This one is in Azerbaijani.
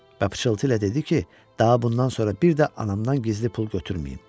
Və pıçıltı ilə dedi ki, daha bundan sonra bir də anamdan gizli pul götürməyim.